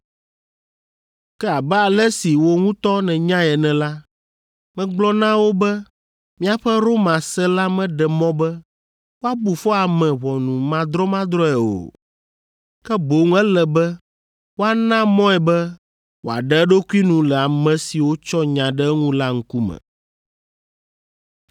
Ke abe ale si wò ŋutɔ nènyae ene la, megblɔ na wo be míaƒe Roma se la meɖe mɔ be woabu fɔ ame ʋɔnumadrɔmadrɔ̃e o, ke boŋ ele be woana mɔe be wòaɖe eɖokui nu le ame siwo tsɔ nya ɖe eŋu la ŋkume.